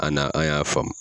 A ana an y'a faamu.